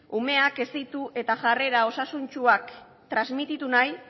umeak hezitu eta jarrera osasuntsuak transmititu nahi